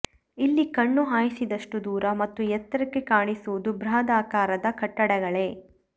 ಇಲ್ಲಿ ಕಣ್ಣು ಹಾಯಿಸಿದಷ್ಟು ದೂರ ಮತ್ತು ಎತ್ತರಕ್ಕೆ ಕಾಣಿಸುವುದು ಬೃಹದಾಕಾರದ ಕಟ್ಟಡಗಳೇ